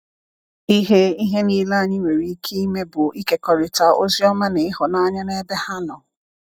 Ihe Ihe niile anyị nwere ike ime bụ ịkekọrịta Oziọma na ịhụnanya n’ebe ha nọ.